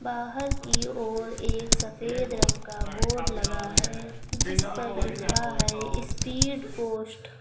बाहर की ओर एक सफेद रंग का बोर्ड लगा है जिस पर लिखा है स्पीड पोस्ट ।